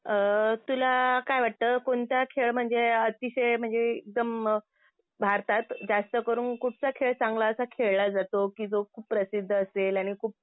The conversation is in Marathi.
अ तुला काय वाटतं कोणता खेळ म्हणजे अतिशय म्हणजे एकदम भारतात जास्त करून कुठचा खेळ चांगला असा खेळला जातो कि जो खूप प्रसिद्ध असेल